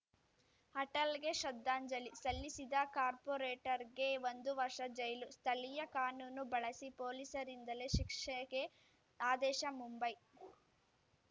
ಅಟಲ್‌ಗೆ ಶ್ರದ್ಧಾಂಜಲಿ ಸಲ್ಲಿಸಿದ ಕಾರ್ಪೋರೇಟರ್‌ಗೆ ಒಂದು ವರ್ಷ ಜೈಲು ಸ್ಥಳೀಯ ಕಾನೂನು ಬಳಸಿ ಪೊಲೀಸರಿಂದಲೇ ಶಿಕ್ಷೆಗೆ ಆದೇಶ ಮುಂಬೈ